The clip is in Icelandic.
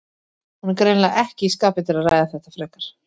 Hún er greinilega ekki í skapi til að ræða þetta frekar.